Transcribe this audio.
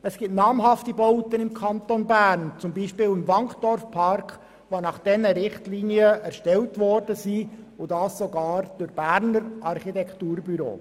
Es gibt namhafte Bauten im Kanton Bern, beispielsweise im Wankdorfpark, die nach diesen Richtlinien erstellt worden sind und dies sogar durch Berner Architekturbüros.